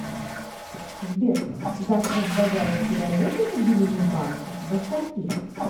сбер завтра в багаевке работает отделение банкадо скольки